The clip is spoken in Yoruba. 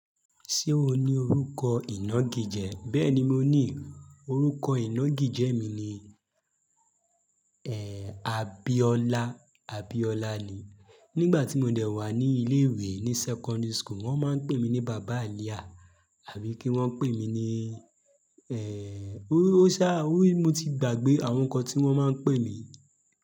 Ṣé o ní orúkọ ìná gijẹ? Bẹ́ẹ̀ni, mo ní. Orúkọ ìná gijẹ mi ni, ẹ́, Abiola. Abiola ni. Nígbà tí mo dẹ̀ wà ní ilé ìwé, ní secondary school, wọ́n máa ń pè mí ní bàbá ààlià àbí kí wọ́n pè mí ní, ẹ́, ó sá, mo ti gbàgbé àwọn nǹkan tí wọ́n máa ń pè mí.